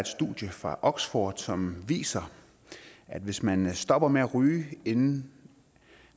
studie fra oxford som viser at hvis man stopper med at ryge inden